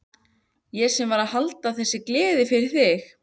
Ég sem var að halda þessa gleði fyrir þig!